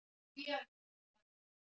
Mikill fjöldi á götum Kaíró